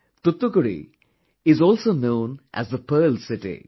Thoothukudi is also known as the Pearl City